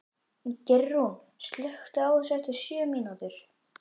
Geirrún, slökktu á þessu eftir sjötíu mínútur.